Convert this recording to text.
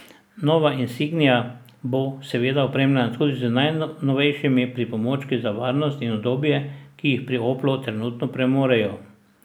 Nova insignia bo, seveda, opremljena tudi z najnovejšimi pripomočki za varnost in udobje, ki jih pri Oplu trenutno premorejo.